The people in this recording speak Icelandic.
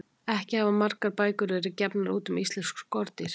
Ekki hafa margar bækur verið gefnar út um íslensk skordýr.